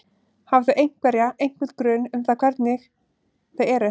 Hafa þau einhverja, einhvern grun um það hvernig hvernig þau eru?